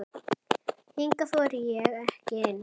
Hingað þori ég ekki inn.